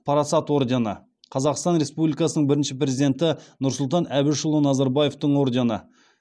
парасат ордені қазақстан республикасыньң бірінші президенті нұрсұлтан әбішұлы назарбаевтың ордені